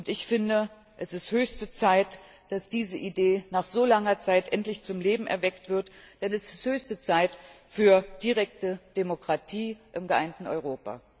Ich finde, es ist höchste Zeit, dass diese Idee nach so langer Zeit endlich zum Leben erweckt wird, denn es ist höchste Zeit für direkte Demokratie im geeinten Europa!